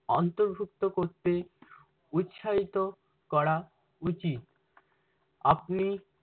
অন্তৰ্ভুক্ত করতে উৎসাহিত করা উচিত। আপনি